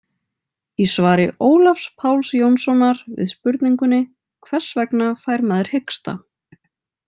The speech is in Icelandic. Í svari Ólafs Páls Jónssonar við spurningunni Hvers vegna fær maður hiksta?